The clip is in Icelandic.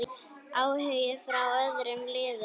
Áhugi frá öðrum liðum?